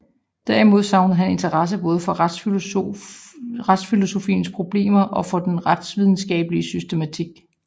Derimod savnede han interesse både for retsfilosofiens problemer og for den retsvidenskabelige systematik